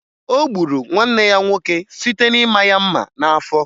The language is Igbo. O gburu nwanne ya nwoke site na-ịma ya mma n'afọ